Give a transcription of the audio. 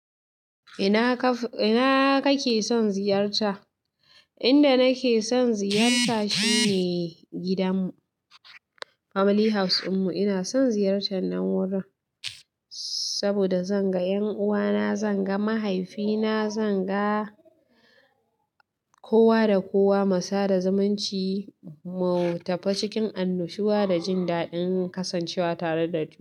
Ina kake son ziyarta? Inda nake son ziyarta shine gidanmu, family house dinmu ina son ziyartar nan wurin saboda zan ga 'yan uwana, zan ga mahaifina, zan ga kowa da kowa. Musa da zumunci mu, tafe cikin annushuwa da jin daɗin kasancewa tare da duk.